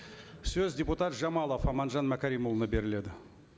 сөз депутат жамалов аманжан мәкәрімұлына беріледі